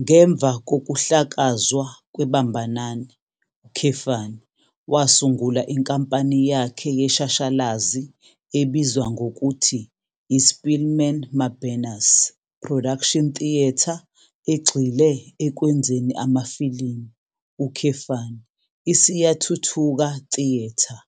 Ngemva kokuhlakazwa kweBambanani, wasungula inkampani yakhe yeshashalazi ebizwa ngokuthi iSpeelman Mabena's Production Theatre egxile ekwenzeni amafilimu, iSiyathuthuka Theatre.